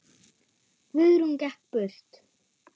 Guðrún gekk burt.